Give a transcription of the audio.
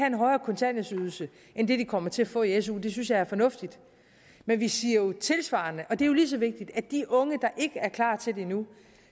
en højere kontanthjælpsydelse end det de kommer til at få i su det synes jeg er fornuftigt men vi siger jo tilsvarende og det er lige så vigtigt at de unge der ikke er klar til det endnu